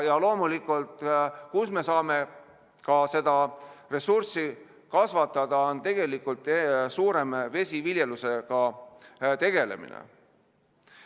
Ja loomulikult, kus me saame ka seda ressurssi kasvatada, on tegelikult suurem vesiviljelusega tegelemine.